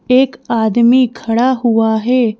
एक आदमी खड़ा हुआ है।